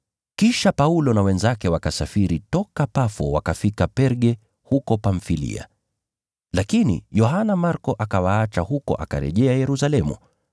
Kisha Paulo na wenzake wakasafiri toka Pafo wakafika Perga huko Pamfilia. Lakini, Yohana Marko akawaacha huko, akarejea Yerusalemu.